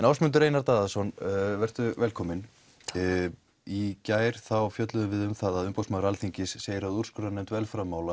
Ásmundur Einar Daðason vertu velkominn í gær fjölluðum við um að Umboðsmaður Alþingis segir að úrskurðarnefnd